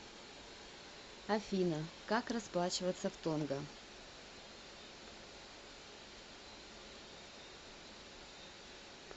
афина как расплачиваться в тонга